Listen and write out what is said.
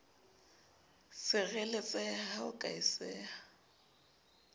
sireletseha ha ho ka etseha